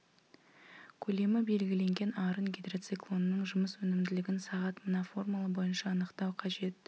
көлемі белгіленген арын гидроциклонның жұмыс өнімділігін сағат мына формула бойынша анықтау қажет